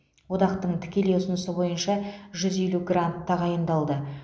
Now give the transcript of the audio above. одақтың тікелей ұсынысы бойынша жүз елу грант тағайындалды